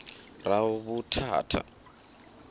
ravhuthatha